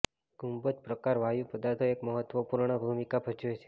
ગુંબજ પ્રકાર વાયુ પદાર્થો એક મહત્વપૂર્ણ ભૂમિકા ભજવે છે